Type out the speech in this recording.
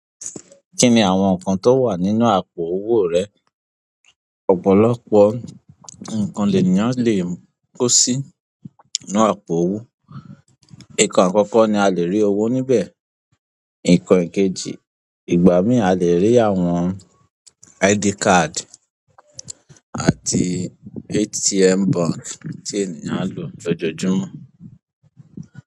Kí ni àwọn nǹkan tó wà nínú àpò owó rẹ? Ọ̀pọ̀lọpọ̀ nǹkan lènìyàn le kó sí inú àpò owó. Nǹkàn àkọ́kọ́ ni a le rí owó níbẹ̀. Nǹkan ẹ̀kejì, ìgbà mìíràn a lè rí àwọn ID card àti ATM bank tí ènìyàn ń lò lójoojúmọ́.